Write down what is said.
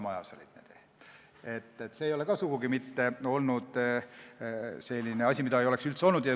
See ei ole sugugi mitte selline asi, mida ei oleks üldse olnud.